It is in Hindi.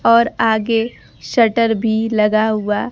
और आगे शटर भी लगा हुआ--